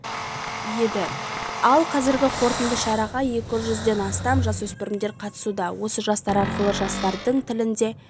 еді ал қазіргі қорытынды шараға екі жүзден астам жасөспірім қатысуда осы жастар арқылы жастардың тілінде